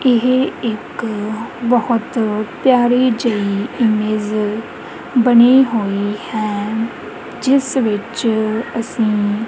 ਇਹ ਇੱਕ ਬਹੁਤ ਪਿਆਰੀ ਜਿਹੀ ਇਮੇਜ ਬਣੀ ਹੋਈ ਹੈ ਜਿਸ ਵਿੱਚ ਅਸੀਂ--